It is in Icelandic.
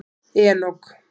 Enok